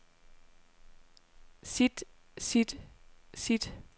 sit sit sit